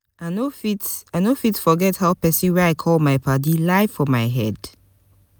i no fit i no fit forget how pesin wey i call my paddy lie for my head.